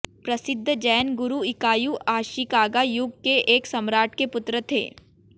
प्रसिद्ध जैन गुरू Ikkyu Ashikaga युग के एक सम्राट के पुत्र थे